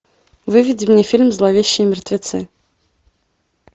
выведи мне фильм зловещие мертвецы